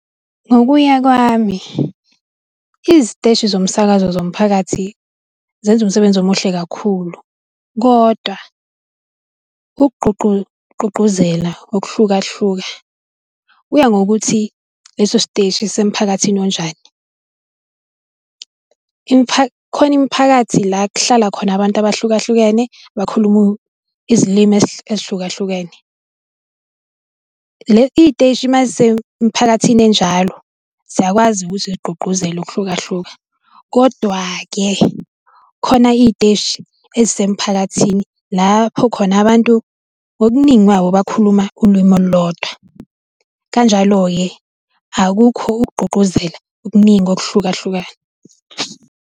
Ngokuya kwami, iziteshi zomsakazo zomphakathi zenza umsebenzi omuhle kakhulu, kodwa ukugqugquzela ngokuhlukahlukana kuya ngokuthi leso siteshi sisemphakathini onjani. Kukhona imiphakathi la kuhlala khona abantu abahlukahlukene bakhuluma izilimi ezihlukahlukene. Iy'teshi uma zisemphakathini enjalo, ziyakwazi ukuthi igqugquzela ukuhlukahluka, kodwa-ke khona iy'teshi ezisemphakathini lapho khona abantu ngobuningi babo bakhuluma ulimi olulodwa. Kanjalo-ke, akukho ukugqugquzela okuningi ngokuhlukahlukana.